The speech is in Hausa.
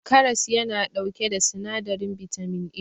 karas yana dauke da sinadirin bitamin A